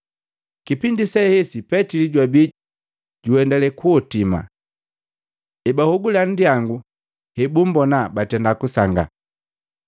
Kipindi sehesi Petili jwabi juendale kuhotima. Ebahogula nndyangu, hebumbona, batenda kusangaa.